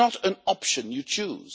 It is not an option you choose.